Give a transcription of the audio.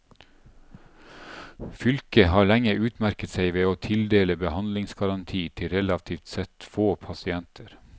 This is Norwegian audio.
Fylket har lenge utmerket seg ved å tildele behandlingsgaranti til relativt sett få pasienter.